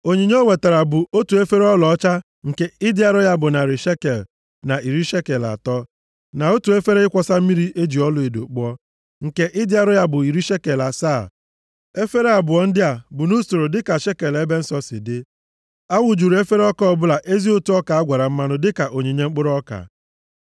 Onyinye o wetara bụ: otu efere ọlaọcha nke ịdị arọ ya bụ narị shekel na iri shekel atọ, na otu efere ịkwọsa mmiri e ji ọlaedo kpụọ, nke ịdị arọ ya bụ iri shekel asaa, efere abụọ ndị a bụ nʼusoro dịka shekel ebe nsọ si dị. A wụjuru efere ọbụla ezi ụtụ ọka a gwara mmanụ dịka onyinye mkpụrụ ọka.